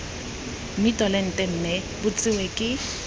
mmitolente mme bo tsewe ke